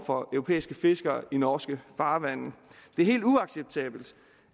for europæiske fiskere i norske farvande det er helt uacceptabelt